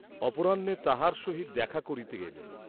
অপরাহ্নে তাঁহার সহিত দেখা করিতে গেলেন।